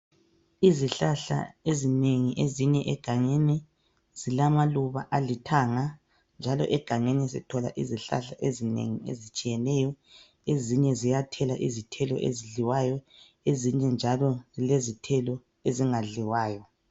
izihlahla ezinengi ezimila egangeni zilamaluba alithanga njalo egangeni sithola izihlahla ezinengi ezitshiyeneyo ezinye ziyathela izithelo ezidliwayo ezinye njalo zithekla izithelo ezingadliwayo